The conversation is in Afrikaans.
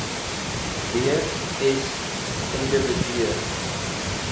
w s individue